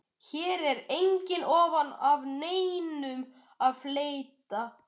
Hér er engu ofan af neinum að fletta.